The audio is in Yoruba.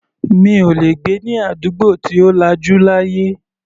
Mi ò lè gbé ní àdúgbò tí ò lajú láyé.